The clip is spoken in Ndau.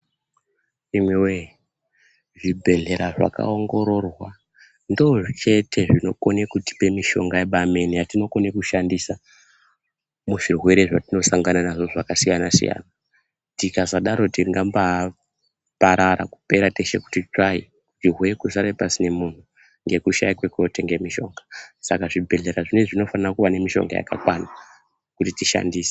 Imiwee zvibhehlera zvakaongororwa ndoochete zvinokone kutipe mishonga yebaamene yatinokone kushandisa muzvirwere zvatinosangana nazvo zvakasiyansiyana. Tikasadaro tingambaparara kupera teshe kuti tsvayi. Zvirwere kusare pasine munhu, ngekushaya kwekuotenga mishonga. Saka zvibhehlera zvinezvi zvinofane kuva nemishonga yakakwana kuti tishandise.